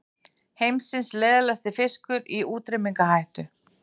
Heimsins leiðasti fiskur í útrýmingarhættu